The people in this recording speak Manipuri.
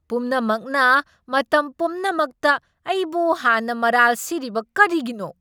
ꯄꯨꯝꯅꯃꯛꯅ ꯃꯇꯝ ꯄꯨꯝꯅꯃꯛꯇ ꯑꯩꯕꯨ ꯍꯥꯟꯅ ꯃꯔꯥꯜ ꯁꯤꯔꯤꯕ ꯀꯔꯤꯒꯤꯅꯣ?